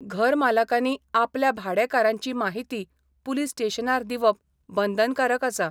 घरमालकांनी आपल्या भाडेकारांची माहिती पुलीस स्टेशनार दिवप बंदनकारक आसा.